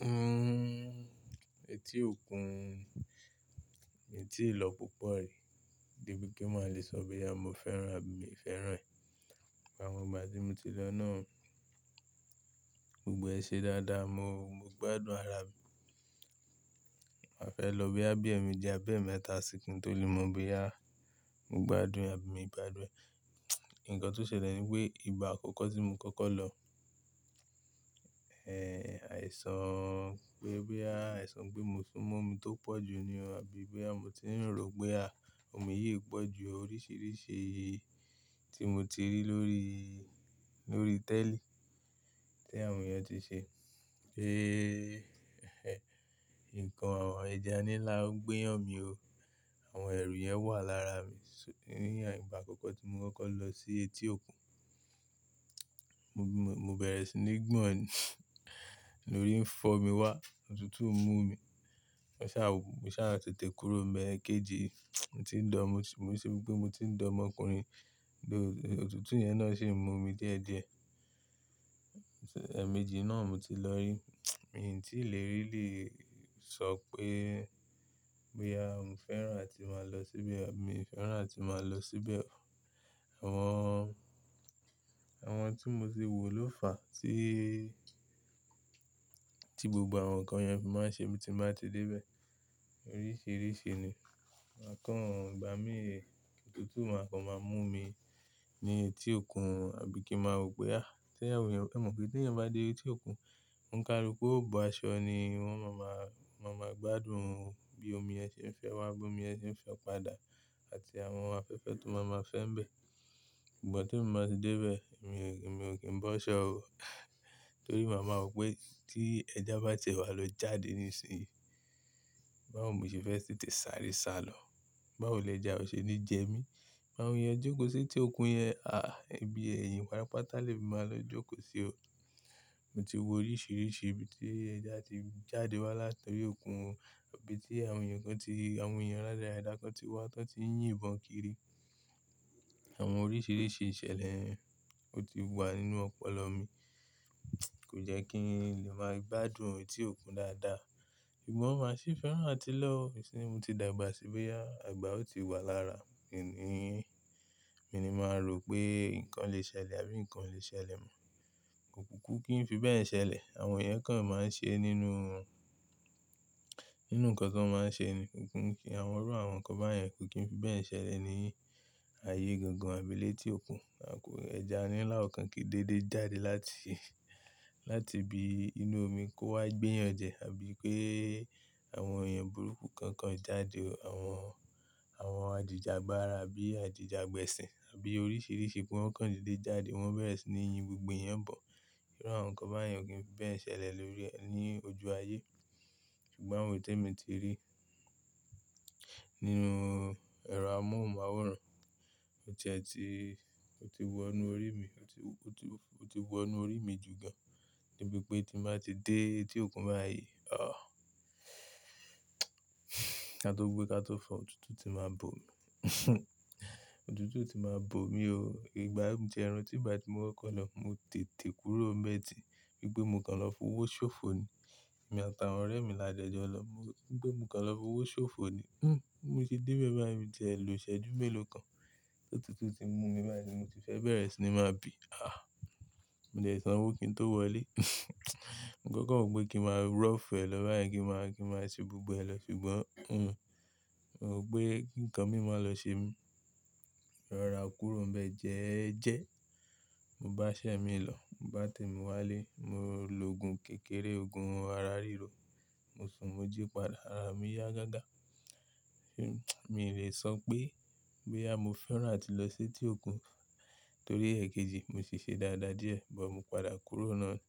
Hmm, etí òkun mi tíì lọ púpọ̀ rí, gbé bí kí n má lè sọ pé, “bíà mo fẹ́ràn àbí mi fẹ́ràn ẹ̀.” Ìgbà wo ìgbà tí mo ti lọ náà gbogbo ẹ ṣe dáadáa, mo, mo gbádùn ara mi. Màá fẹ́ lọ bí àbí ẹ̀mi jẹ́ abẹ́ mẹ́ta sìkun tó lè mọ̀ bí à mo gbádùn ẹ àbí mi gbádùn ẹ. Ǹkan tó ṣẹlẹ̀ ni pé ìgbà àkọ́kọ́ tí mo kọ́kọ́ lọ, ẹ, àìsàn pé bíà, àìsàn pé mo sún mọ́ omi tó pọ̀ jù ní o àbí bí à mo ti rò pé à omi yìí pọ̀ ju oríṣìíríṣìí tí mo ti rí lórí, lórí tẹ́lì tí àwọn èèyàn ti ṣe. Pé ǹkan ẹ̀ja nláó gbéyàn mi o. Àwọn ẹ̀rù yẹn wà lára mi s- ní ìgbà àkọ́kọ́ tí mo kọ́kọ́ lọ sí etí òkun. Mo bẹ̀rẹ̀ sí ní gbọ̀n lórí ń fọ́ mi wá, òtútù ń mú mi. Mo sá, mo sá tètè kúrò mẹ́ẹ̀kejì. Mo ti ń dọ̀, mo rí i ṣe wípé mo ti ń di ọmọkùnrin, òtútù yẹn náà ṣe ń mú mi díẹ̀díẹ̀. Ẹ̀ẹ̀mejì náà mo ti lọ rí. Èyí tí ì lè rí lè sọ pé, bíà mò fẹ́ràn láti máa lọ síbẹ̀ àbí mi fẹ́ràn láti máa lọ síbẹ̀. Àwọn, àwọn tí mo ti wò ló fà á tí, tí gbogbo àwọn ǹkan yẹn fi máa ń ṣe mi tí màá ti dé bẹ́ẹ̀. Oríṣìíríṣìí ni. Àkọ́ń gbà mí, òtútù máa kàn máa mú mi ní etí òkun àbí kí màá ro pé à tí àwọn èèyàn, ẹ̀ mọ̀ pé tí ẹ̀yàn bá dé etí òkun, ó ń kárí pé óò bọ aṣọ ni wọ́n máa ma, wọ́n máa gbádùn o. Bí omi yẹn ṣe ń fẹ́ wá, bí omi yẹn ṣe ń fẹ́ padà àti àwọn ohun afẹ́fẹ́ tó máa ma fẹ́ ń bẹ́. Ṣùgbọ́n tí mo bá ti dé bẹ́ẹ̀, èmi, èmi ò kí ń bọ́ ṣọ́ o. Nítorí màá mọ̀ pé tí ẹja bá tẹ̀wá lọ jáde nísinsìnyí, báwo mo ṣe fẹ́ tètè sàrí sálọ? Báwo lẹ ẹja o ṣe ní jẹ mí? Báwo èèyàn jókòó sí etí òkun yẹn, à ẹbí ẹ̀yìn patapátá lè máa lọ jókòó sí o. Mo ti wo oríṣìíríṣìí ibi tí ẹja ti jáde wá látọyí òkun o, ibi tí àwọn èèyàn kan ti, àwọn èèyàn ládàrádà kan ti wá tán tí ń yìn bọ̀ kiri. Àwọn oríṣìíríṣìí ìṣẹ̀lẹ̀ ó ti wà nínú ọpọlọ mi. Kò jẹ́ kí n lè máa gbádùn etí òkun dáadáa. Ṣùgbọ́n màá sì fẹ́ràn láti lọ. Ṣìyí mo ti dàgbà sí bíà, àgbà ò tí wá lára mi. Kìní, mo ni màá ro pé ǹkan lè ṣẹlẹ̀ àbí ǹkan lè ṣẹlẹ̀ mọ́. Kò kúùkú kí n fi bẹ́ẹ̀ ṣẹlẹ̀. Àwọn èèyàn kàn máa ń ṣe nínú wọn, nínú ǹkan tí wọ́n máa ń ṣe ni. Kò kúùkú kí àwọn ọ̀rọ̀ àwọn kan báyẹn kí n fi bẹ́ẹ̀ ṣẹlẹ̀ ní ayé gangan àbí létí òkun. Àkórí ẹja nlaó kan kìí dédé jáde láti, láti ibi inú omi kó wá gbéyàn jẹ àbí pé àwọn èèyàn burúkú kankan jáde o. Àwọn, àwọn àdìjẹ àgbára àbí àdìjẹ àgbẹ̀sìn àbí oríṣìíríṣìí pé wọ́n kàn dédé jáde, wọ́n bẹ̀rẹ̀ sí ní yin gbogbo ẹ̀yẹn bọ̀. Ọ̀rọ̀ àwọn kan báyẹn ò kí ń fi bẹ́ẹ̀ ṣẹlẹ̀ lórí ẹ ní ojú ayé. Ṣùgbọ́n àwọn ètè mi ti rí nínú ẹ̀rọ amóhùnmáwòrán. Ó ti ẹ́ ti, ó ti wọ inú orí mi, ó ti, ó ti, ó ti wọ inú orí mi jù gan. Gbé bí pé tí màá ti dé etí òkun báyìí, à ká tó gbé ká tó fà, òtútù ti máa bó mi. Òtútù ti máa bó mi o. Ìgbà méje ẹran tí ìgbà tí mo kọ́kọ́ lọ, mo tètè kúrò mẹ́ẹ̀dì. Gbé mo kàn lọ fún owó ṣòfò ni. Èmi àtàwọn ọ̀rẹ́ mi la jẹ́ ẹ jọ lọ. Gbé mo kàn lọ fún owó ṣòfò ni. Hmm, mo ti dé bẹ́ẹ̀ báyìí tí ẹ̀ ló ṣẹ́jú mélòó kan, òtútù ti mú mi báyìí tí mo ti fẹ́ bẹ̀rẹ̀ sí ní máa bì. Ah, mo lè sọ wípé kí n tó wọlé. N kò mọ̀ pé kí màá rọ̀fẹ́ lọ báyìí kí màá, kí màá ṣe gbogbo ẹ lọ. Ṣùgbọ́n, hmm, mo rò pé ǹkan mi máa lọ ṣe mí. Rọra kúrò ń bẹ́ẹ̀ jẹ́ẹ́jẹ́. Mo bá iṣẹ́ mi lọ, mo bá tèmi wá lé, mo lòògùn kékeré, òògùn ara ríro. Mo sùn mo jí padà, ara mi yá gágá. Mi lè sọ pé, bíà mò fẹ́ràn láti lọ sí etí òkun torí ẹ̀ẹ̀kejì mo ṣe ṣe dáadáa díẹ̀. Ṣùgbọ́n mo padà kúrò náà ni.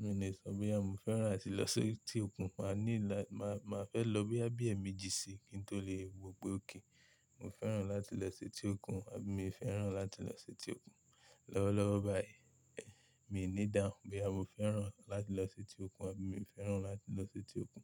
Mi lè sọ pé à mò fẹ́ràn láti lọ sí etí òkun. Màá ní là, màá, màá fẹ́ lọ bí àbí ẹ̀ẹ̀ méjì sí i kí n tó lè mọ̀ pé ó kìí. Mo fẹ́ràn láti lọ sí etí òkun àbí mi fẹ́ràn láti lọ sí etí òkun. Lọ́wọ́lọ́wọ́ báyìí, ẹ̀ mi ò ní dáhùn bí à mò fẹ́ràn láti lọ sí etí òkun àbí mi ò fẹ́ràn láti lọ sí etí òkun.